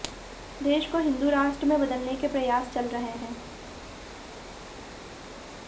देश को हिंदू राष्ट्र में बदलने के प्रयास चल रहे हैं